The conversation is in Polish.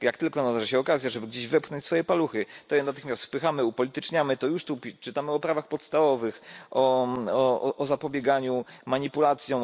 Jak tylko nadarzy się okazja, żeby gdzieś wepchnąć swoje paluchy, to je natychmiast wpychamy, upolityczniamy, już tu czytamy o prawach podstawowych, o zapobieganiu manipulacjom.